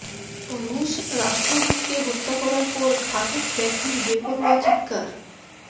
রুশ রাষ্ট্রদূতকে হত্যা করার পর ঘাতক ব্যক্তির বেপরোয়া চিৎকার